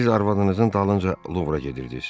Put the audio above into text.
Siz arvadınızın dalınca Luvra gedirdiniz.